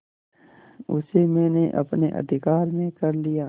उसे मैंने अपने अधिकार में कर लिया